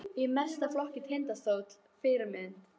Í meistaraflokk Tindastóls Fyrirmynd?